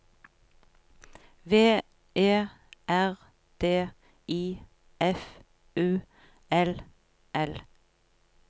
V E R D I F U L L